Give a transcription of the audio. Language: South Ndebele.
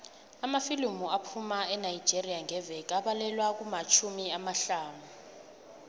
amafilimu aphuma enigeria ngeveke abalelwa kumatjhumi amahlanu